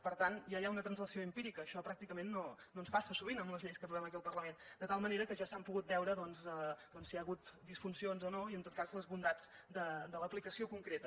per tant ja hi ha una translació empírica això pràcticament no ens passa sovint amb les lleis que aprovem aquí al parlament de tal manera que ja s’han pogut veure doncs si hi han hagut disfuncions o no i en tot cas les bondats de l’aplicació concreta